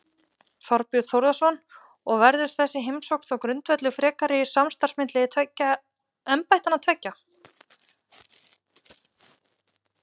Þorbjörn Þórðarson: Og verður þessi heimsókn þá grundvöllur frekara samstarfs milli embættanna tveggja?